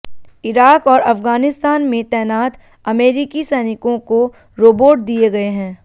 Iraq और अफगानिस्तान में तैनात अमेरिकी सैनिकों को रोबोट दिए गए हैं